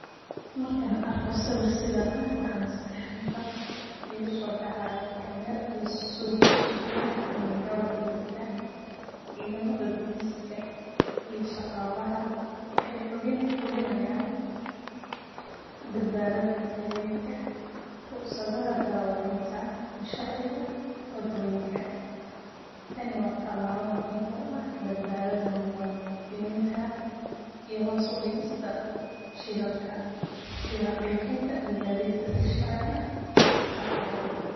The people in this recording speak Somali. Markan sawirkan sidan ah waxa maskaxda igasodacaya kormer iyo sugida amniga wadoyinka cidamada boliska iyo shaqlaha wexey hubinayan badbadad gadidka ruqsadaha darewalinta iyo sharciga wadoyinka, tani wa talabo muhiim uaha badbadada muwadininta iyo hoos udigista shilalka iyo xaqijinta in gadidka sii sharci ah ushaqeyo.